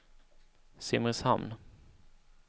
Simrishamn